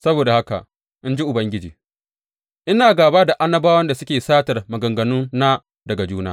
Saboda haka, in ji Ubangiji, Ina gāba da annabawan da suke satar maganganuna daga juna.